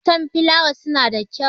Enmatan filawa suna da kyau.